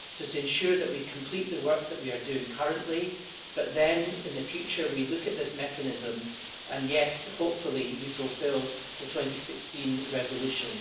So, to ensure that we complete the work that we are doing currently, but then in the future we look at this mechanism, and yes, hopefully we fulfil the 2016 resolution.